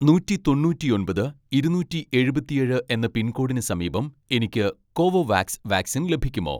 നൂറ്റി തൊണ്ണൂറ്റിയൊമ്പത് ഇരുന്നൂറ്റി എഴുപത്തിയേഴ് എന്ന പിൻകോഡിന് സമീപം എനിക്ക് കോവോവാക്സ് വാക്സിൻ ലഭിക്കുമോ